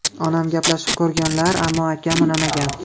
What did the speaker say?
Onam gaplashib ko‘rganlar, ammo akam unamagan.